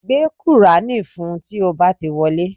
Gbé kùránì fún un tí ó bá ti wọlé